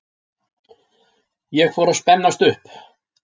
Ég fór að spennast upp.